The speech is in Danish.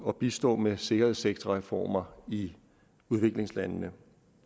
og bistå med sikkerhedssektorreformer i udviklingslandene